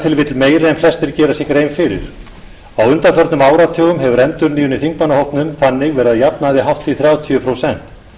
en flestir gera sér grein fyrir á undanförnum áratugum hefur endurnýjun í þingmannahópnum þannig verið að jafnaði hátt í þrjátíu prósent